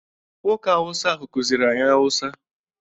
Nwoke awụsa ahụ kuziri anyi awụsa.